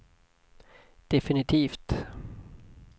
definitivt